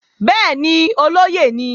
Bẹ́ẹ̀ni, olóyè ni